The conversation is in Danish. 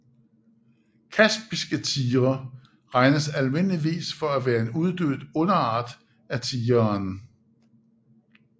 Kaspiske tigre regnes almindeligvis for at være en uddød underart af tigeren